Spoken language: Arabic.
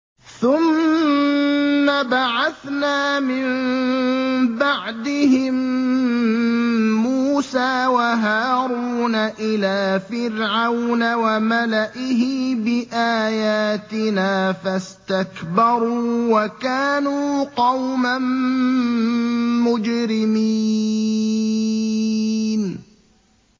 ثُمَّ بَعَثْنَا مِن بَعْدِهِم مُّوسَىٰ وَهَارُونَ إِلَىٰ فِرْعَوْنَ وَمَلَئِهِ بِآيَاتِنَا فَاسْتَكْبَرُوا وَكَانُوا قَوْمًا مُّجْرِمِينَ